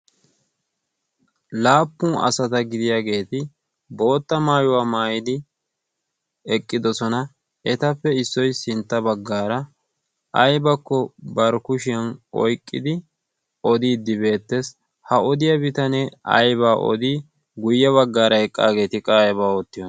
laappun asata gidiyaageeti bootta maayuwaa maayidi eqqidosona. etappe issoi sintta baggaara aybakko barkushiyan oiqqidi odiiddi beettees ha odiyaa bitanee aiba odii guyye baggaara eqqaageeti qaayeba oottiyo